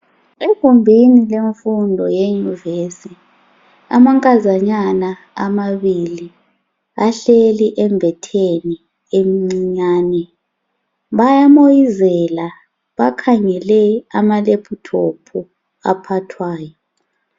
Egumbuni lemfundo yenyuvesi amankazanyana amabili ahleli embetheni emincinyane bayamoyizela bakhangele amalephuthophu aphathwayo.